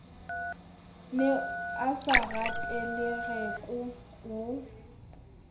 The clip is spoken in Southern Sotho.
ne a sa ratelereko o